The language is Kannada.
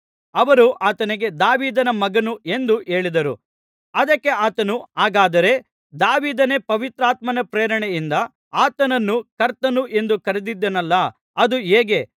ಅವರು ಆತನಿಗೆ ದಾವೀದನ ಮಗನು ಎಂದು ಹೇಳಿದರು ಅದಕ್ಕೆ ಆತನು ಹಾಗಾದರೆ ದಾವೀದನೇ ಪವಿತ್ರಾತ್ಮನ ಪ್ರೇರಣೆಯಿಂದ ಆತನನ್ನು ಕರ್ತನು ಎಂದು ಕರೆದಿದ್ದಾನಲ್ಲಾ ಅದು ಹೇಗೆ